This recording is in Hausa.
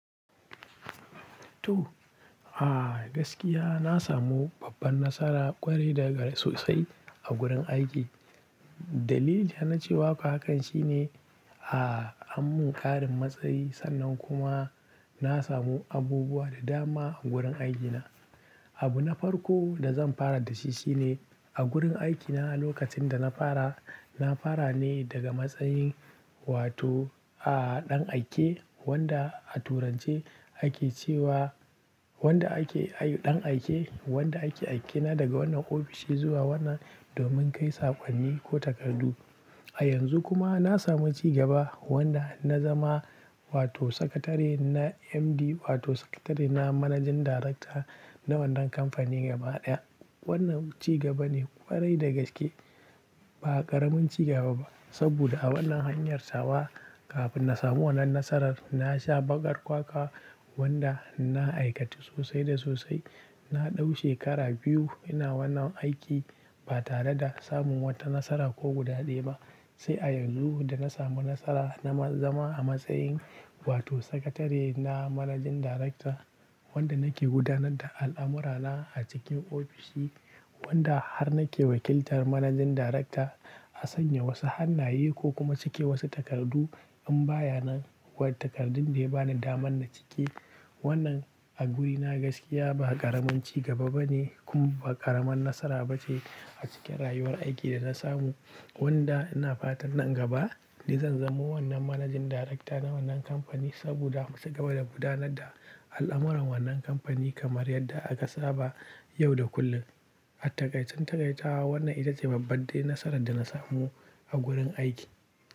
To, a gaskiya na samu babban nasara kwarai da gaske sosai a gurin aiki. Dalilin na cewa haka shine, a an mun ƙarin matsayi sannan kuma na samu abubuwa da dama a gurin aikina. Abu na farko da zan fara da shi shine a gurin aikina lokacin da na fara, na fara ne daga matsayin wato a ɗan aike wanda a turance ake cewa wanda ake ayu-- ɗan aike wanda ake aikina daga wannan ofishi zuwa wannan domin kai sakonni ko takardu. A yanzu kuma na samu ci gaba wanda na zama wato sakatare na MD wato sakatare na managing director na wannan kamfani gaba ɗaya. Wannan ci gaba ne ƙwarai da gaske ba ƙaramin ci gaba ba. Saboda a wannan hanyar tawa kafin na samu wannan nasarar na sha baƙar kwakwa wanda na aikatu sosai da sosai. Na ɗau shekara biyu ina wannan aiki ba tare da samun wata nasara ko guda ɗaya ba. Sai a yanzu da na samu nasara na ma zama a matsayin wato sakatare na managing director wanda nake gudanar da al'amurana a cikin ofishi wanda har nake wakiltar managing director a sanya wasu hannaye ko kuma cike wasu takardu in baya nan wa takardun da ya bani daman na cike. Wannan a wurina gaskiya ba ƙaramin ci gaba bane kuma ba ƙaramin nasara bace a cikin rayuwar aiki da na samu wanda ina fatan nan gaba ni zan zamo wannan managing director na wannan kamfani saboda ci gaba da gudanar da al'amuran wannan kamfani kamar yadda aka saba yau da kullum. A taƙaicen takaita wannan ita ce babban nasarar da na samu a gurin aiki.